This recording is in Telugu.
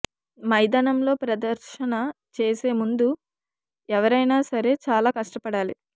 మైదానంలో ప్రదర్శన చేసే ముందు ఎవరైనా సరే చాలా కష్టపడాలి